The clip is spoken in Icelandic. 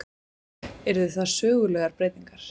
Yrðu það sögulegar breytingar